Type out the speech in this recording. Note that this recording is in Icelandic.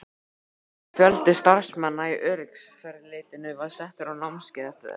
Fjöldi starfsmanna í öryggiseftirlitinu var settur á námskeið eftir þetta?